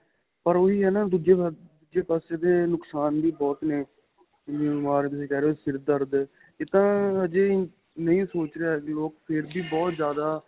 ਪਰ ਉਹੀ ਏ ਦੂਜੇ ਪਾਸੇ ਇਹਦੇ ਨੁਕਸ਼ਾਨ ਵੀ ਬਹੁਤ ਨੇ ਜਿਵੇਂ ਬੀਮਾਰ ਤੁਸੀਂ ਕਹਿ ਰਹੇ ਹੋ ਸਿਰ ਦਰਦ ਏਹ ਤਾਂ ਅਜੇ ਨਹੀਂ ਸੋਚ ਰਿਹਾ ਵੀ